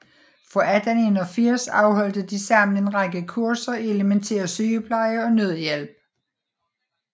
Fra 1881 afholdte de sammen en række kurser i elemæntær sygepleje og nødhjælp